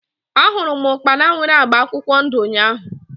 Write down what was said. A hụrụ m ukpana nwere agba akwụkwọ ndụ ụnyaahụ